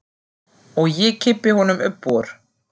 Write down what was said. Og ég kippi honum upp úr.